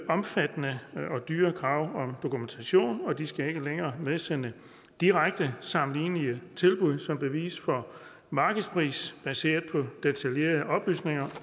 omfattende og dyre krav om dokumentation og de skal ikke længere medsende direkte sammenlignelige tilbud som bevis for markedspris baseret på detaljerede oplysninger